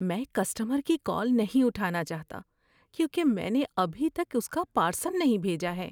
میں کسٹمر کی کال نہیں اٹھانا چاہتا کیونکہ میں نے ابھی تک اس کا پارسل نہیں بھیجا ہے۔